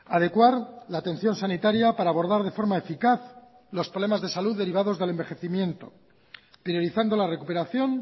adecuar la atención sanitaria para abordar de forma eficaz los problemas de salud derivados del envejecimiento priorizando la recuperación